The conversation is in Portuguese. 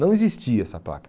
Não existia essa placa.